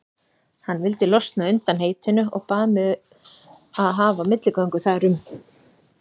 Hann vildi losna undan heitinu og bað mig að hafa milligöngu þar um.